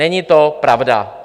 Není to pravda.